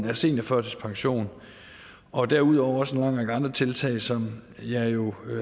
af seniorførtidspension og derudover også en lang række andre tiltag som jeg jo